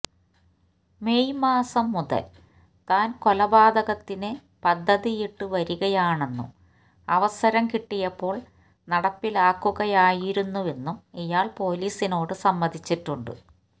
May മാസം മുതൽ താൻ കൊലപാതകത്തിന് പദ്ധതിയിട്ടുവരികയാണെന്നും അവസരം കിട്ടിയപ്പോൾ നടപ്പിലാക്കുകയായിരുന്നുവെന്നും ഇയാൾ പോലീസിനോട് സമ്മതിച്ചിട്ടുണ്ട്